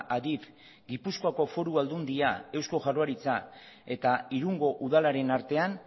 adif gipuzkoako foru aldundia eusko jaurlaritza eta irungo udalaren artean